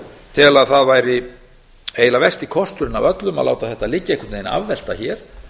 tel að það væri eiginlega versti kosturinn af öllum að láta þetta liggja einhvern veginn afvelta hér